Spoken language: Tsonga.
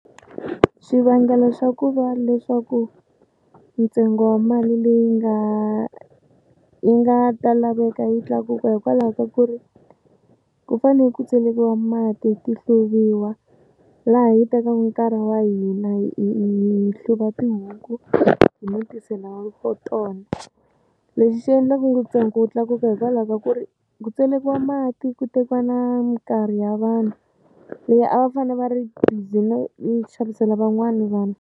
Xivangelo xa ku va leswaku ntsengo wa mali leyi nga yi nga ta laveka yi tlakuka hikwalaho ka ku ri ku fane ku tselekika mati ti hluvuriwa laha yi tekaka nkarhi wa hina hi hluva tihuku no tisela we for tona lexi xi endla ku ntsengo wu tlakuka hikwalaho ka ku ri ku tselekiwa mati ku tekiwa na mikarhi ya vanhu leyi a va fane va ri busy no xavisela van'wani vanhu.